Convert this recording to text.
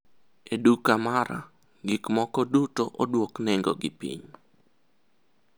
e duka mara, gik moko duto odwok nengo gi piny